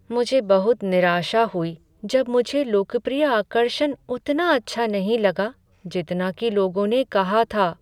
मुझे बहुत निराशा हुई जब मुझे लोकप्रिय आकर्षण उतना अच्छा नहीं लगा जितना कि लोगों ने कहा था।